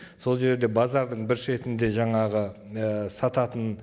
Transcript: сол жерде базардың бір шетінде жаңағы і сататын